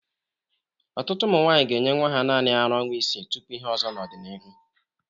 Ọtụtụ ụmụ nwaanyi ga-enye nwa ha naanị ara ọnwa isii tupu ihe ọzọ n'ọdịnihu.